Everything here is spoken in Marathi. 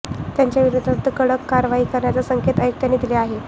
त्यांच्या विरोधात कडक कारवाई करण्याचे संकेत आयुक्तांनी दिले आहेत